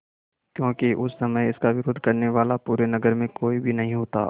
क्योंकि उस समय इसका विरोध करने वाला पूरे नगर में कोई भी नहीं होता